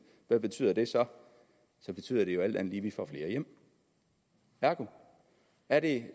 hvad betyder det så så betyder det jo alt at vi får flere hjem ergo er det